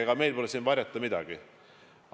Ega meil pole siin varjata midagi.